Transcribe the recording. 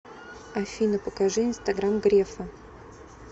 афина покажи инстаграм грефа